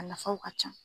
A nafaw ka ca